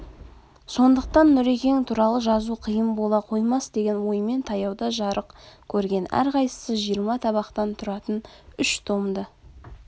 сондықтан нұрекең туралы жазу қиын бола қоймас деген оймен таяуда жарық көрген әрқайсысы жиырма табақтан тұратын үш томды